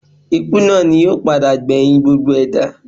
Ikú náà ni yóò padà gbẹ̀yìn gbogbo ẹ̀dá